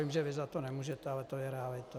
Vím, že ty za to nemůžete, ale to je realita.